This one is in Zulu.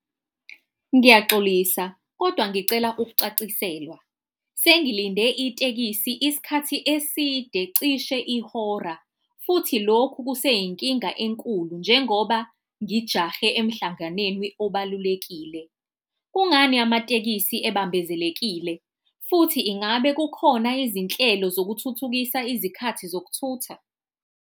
Ngiyaxolisa kodwa ngicela ukucaciselwa. Sengilinde itekisi isikhathi eside, cishe ihora futhi lokhu kuseyinkinga enkulu njengoba ngijahe emhlanganenwi obalulekile. Kungani amatekisi ebambezekile, futhi ingabe kukhona izinhlelo zokuthuthukisa izikhathi zokuthutha?